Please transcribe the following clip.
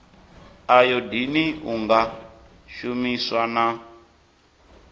ayodini u nga shumiswa na